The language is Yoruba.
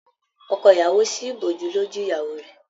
Ọkọ ìyàwó sí ìbòjú lójú ìyàwó rẹ.